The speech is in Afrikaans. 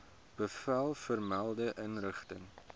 bevel vermelde inrigting